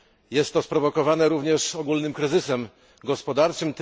Jest to sprowokowane również ogólnym kryzysem gospodarczym.